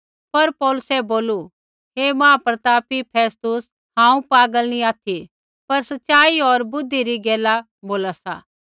पर पौलुसै बोलू हे महाप्रतापी फेस्तुस हांऊँ पागल नी ऑथि पर सच़ाई होर बुद्धि री गैला बोला सा